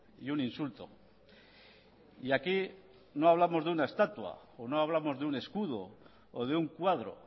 y un insulto y aquí no hablamos de una estatua o no hablamos de un escudo o de un cuadro